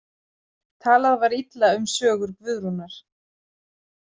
Talað var illa um sögur Guðrúnar.